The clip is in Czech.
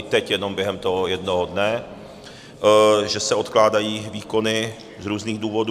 I teď jenom během toho jednoho dne, že se odkládají výkony z různých důvodů.